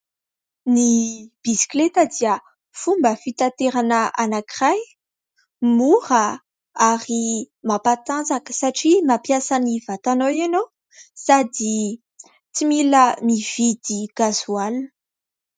Ny bisikileta dia fomba fitaterana anankiray, mora ary mampatanjaka satria mampiasa ny vatanao ianao sady tsy mila mividy gazoaly.